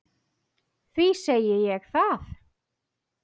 Því segi ég það.